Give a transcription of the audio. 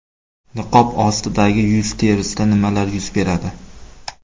Niqob ostidagi yuz terisida nimalar yuz beradi?